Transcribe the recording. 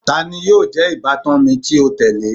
Tani yóò jẹ ibatan mi ti o tẹle?